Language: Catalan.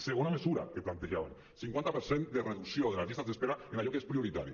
segona mesura que plantejàvem cinquanta per cent de reducció de les llistes d’espera en allò que és prioritari